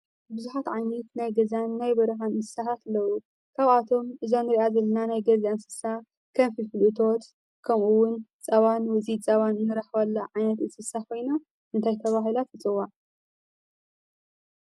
ቡዝሓት ዓይነት ናይ ገዛን ናይ በረካን እንስሳታት ኣለዉ። ካብኣቶም እዛ እንሪኣ ዘለና ናይ ገዛ እንስሳ ከም ፍልፍል እቶት ከምእውን ፀባን ውፅኢት ፀባን ንረክበላ ዓይነት እንስሳ ኮይና እንታይ ተባሂላ ትፅዋዕ?